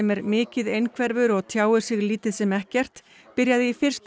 er mikið einhverfur og tjáir sig lítið sem ekkert byrjaði í fyrsta